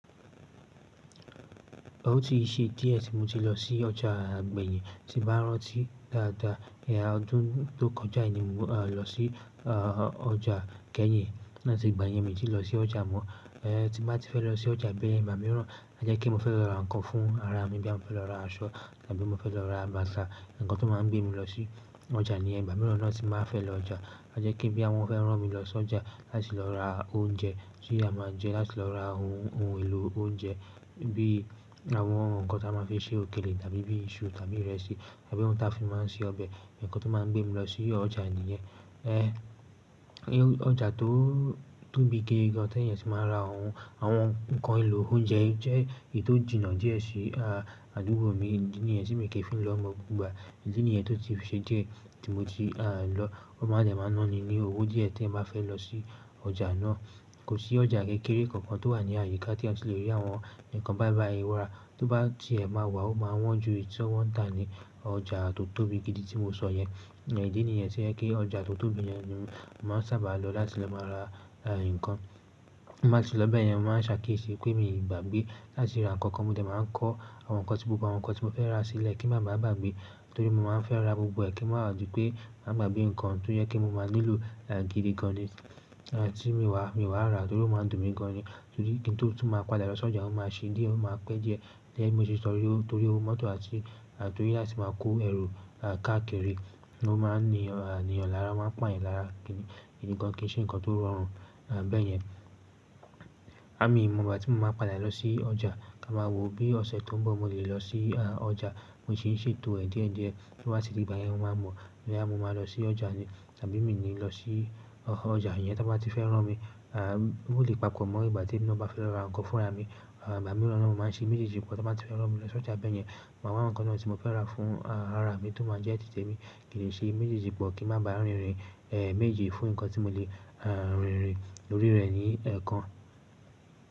Ó ti ṣe díẹ̀ tí mo ti lọ sí ọjà gbẹ́yin, tí bá rántí dáadáa, ìyá ọdún tó kọjá ni mo lọ sí ọjà kẹ́yin láti ìgbà yẹn mi ò tí lọ sí ọjà mọ́. Tí bá ti fẹ́ lọ sí ọjà bẹ́ẹ̀, ìgbà mìíràn jẹ́ kí n fẹ́ lọ ra nǹkan fún ara mi bóyá mo fẹ́ lọ ra aṣọ tàbí mo fẹ́ lọ ra bàtà, ǹkan tó máa ń gbé mi lọ sí ọjà níyen ìgbà mìíràn náà ti báa fẹ́ lọ ọjà. A jẹ́ kí boya wọn fẹ́ rán mi lọ sí ọjà láti lọ ra oúnjẹ tí a máa ń jẹ, láti lọ ra ohun èlò oúnjẹ bí àwọn ǹkan tí a máa fi ṣe òkèlè tàbí bí iṣu tàbí ìrẹsì tàbí ohun tí a fi máa ń ṣe ọbẹ̀, ǹkan tó máa ń gbé mi lọ sí ọjà nìyẹn. Ọjà tó tóbi gidi gan an tí èèyàn ti máa ra àwọn ohun èlò oúnjẹ jẹ́ èyí tó jìnnà díẹ̀ sí àdúgbò mi, ìdí nìyẹn tí mi kì í fi lọ ni gbogbo ìgbà. Ìdí nìyẹn tó ti ṣe díẹ̀ tí mo ti lọ, ó máa dẹ̀ máa ná ni ní owó díẹ̀ tí ẹeyan bá fẹ́ lọ sí ọjà náà. Kò sí ọjà kékeré kankan tó wà ní àyíká tí ẹeyan ó ti lè rí àwọn ǹkan bàìbàì wára, tó bá ti ẹ máa wà ó máa wọ́n ju èyí tí wọ́n ń tà ní ọjà tó tóbi gidi tí mo sọ yẹn. Ìdí nìyẹn tí ẹ̀ kí ọjà tó tóbi yẹn ni màá sábà lọ láti lọ máa ra nǹkan. Láti lọ bẹ́ẹ̀ yẹn, màá ṣàkíyèsí pé mi ò gbàgbé láti ra ǹkan kan, mo dẹ̀ máa kọ́ àwọn ǹkan tí gbogbo àwọn ǹkan tí mo fẹ́ rà sílẹ̀ kí n má ba à gbàgbé. Torí mo máa ń fẹ́ ra gbogbo ẹ̀ kí n má ba à di pé máa gbàgbé ǹkan tó yẹ kí mo máa nílò gidi gan ni tí mo wà, mi wà ra torí ó máa dùn mí gan ni. Torí kí n tó tún máa padà lọ sí ọjà, ó máa ṣe díẹ̀, ó máa pẹ́ díẹ̀ díẹ̀ tí mo ti sọ ọ́, torí owó mọ́tò àti torí láti máa kó ẹrù káàkiri ló máa ń ní èèyàn lára, máa pà yan lára, gidi kì í ṣe ǹkan tó rọrùn bẹ́ẹ̀ yẹn. Mi òò mọ ìgbà tí mo máa padà lọ sí ọjà kí a máa wo bí ọ̀sẹ̀ tó ń bọ̀ mo lè lọ sí ọjà. Mo sì ń ṣètò ẹ̀ díẹ̀díẹ̀ tó bá ti di ìgbà yẹn, mo máa mọ̀ bóyá mo máa lọ sí ọjà ni tàbí mi ò ní lọ sí ọjà yẹn tá bá ti fẹ́ rán mi. Ó lè papọ̀ mọ́ ìgbà tí èmi ná bá fẹ́ lọ ra nǹkan fún ara mi. Ìgbà mìíràn ni wọ́n máa ń ṣe méjèèjì ǹkan tí wọ́n bá ti fẹ́ rán mi lọ sí ọjà bẹ́ẹ̀ yẹn, màá wá ǹkan náà tí mo fẹ́ rà fún ara mi tó máa jẹ́ tètè mi kì le ṣe méjèèjì pọ̀ kí n má ba rìnrin méjì fún ǹkan tí mo lè rìnrin orí rẹ̀ ní ẹ̀ kan.